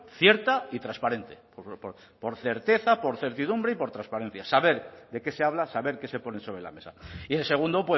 cierta y transparente por certeza por certidumbre y por transparencia saber de qué se habla saber qué se pone sobre la mesa y el segundo